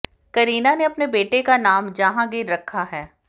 करीना ने अपने बेटे का नाम जहांगीर रखा है